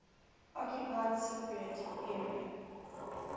occupied cypriot area